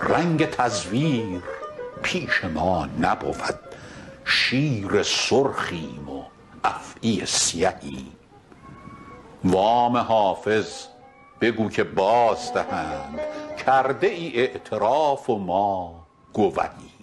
رنگ تزویر پیش ما نبود شیر سرخیم و افعی سیهیم وام حافظ بگو که بازدهند کرده ای اعتراف و ما گوهیم